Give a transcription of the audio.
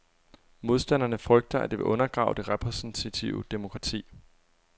Modstanderne frygter, at det vil undergrave det repræsentative demokrati.